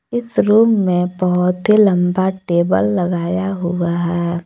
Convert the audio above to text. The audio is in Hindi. इस रूम में बहुत ही लंबा टेबल लगाया हुआ है।